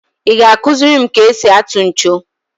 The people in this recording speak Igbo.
I ga akuziri m ka e si atụ ncho?